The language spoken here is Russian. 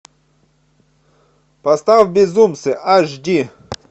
поставь безумцы аш ди